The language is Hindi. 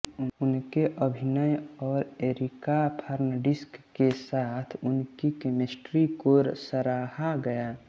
उनके अभिनय और एरिका फर्नांडिस के साथ उनकी केमिस्ट्री को सराहा गया